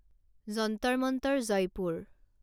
Jantar Mantar Jaipur